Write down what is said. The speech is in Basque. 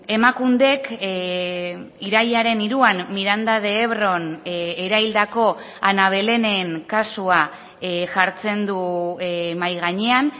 emakundek irailaren hiruan miranda de ebron eraildako ana belenen kasua jartzen du mahai gainean